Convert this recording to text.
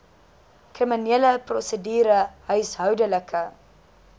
kriminele prosedure huishoudelike